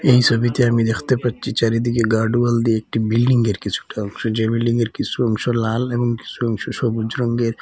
এই সোবিতে আমি দেখতে পারছি চারিদিকে গার্ড ওয়াল দিয়ে একটি বিল্ডিংয়ের কিছুটা অংশ যে বিল্ডিংয়ের কিসু অংশ লাল এবং কিসু অংশ সবুজ রঙ্গের--